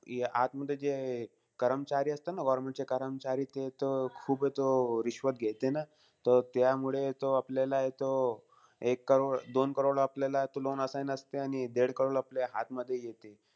आतमध्ये जे कर्मचारी असते ना, government चे कर्मचारी. ते तो, खूप हे तो घेते ना. तो त्यामुळे तो, आपल्यालाय तो एक करोड-दोन करोड आपल्याला तो loan assign असते. आणि देड करोड आपल्या हातमध्ये येते.